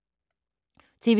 TV 2